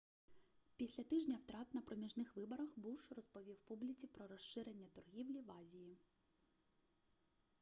після тижня втрат на проміжних виборах буш розповів публіці про розширення торгівлі в азії